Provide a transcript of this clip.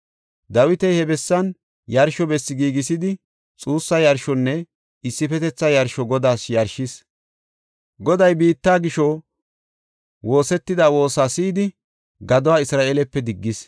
Dawiti he bessan yarsho bessi giigisidi xuussa yarshonne issifetetha yarsho Godaas yarshis. Goday biitta gisho woosetida woosa si7idi, gaduwa Isra7eelepe diggis.